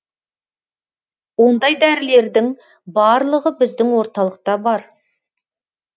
ондай дәрілердің барлығы біздің орталықта бар